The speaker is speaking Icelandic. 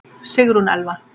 Sigrún Elfa.